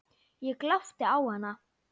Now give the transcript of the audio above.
Ég glápti á hana.